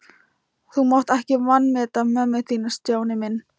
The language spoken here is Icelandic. Þú mátt ekki vanmeta mömmu þína, Stjáni minn.